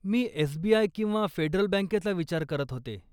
मी SBI. किंवा Federal बँकेचा विचार करत होते.